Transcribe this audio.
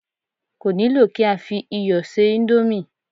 Kò nílò kí á fi iyọ̀ ṣe íńdómì.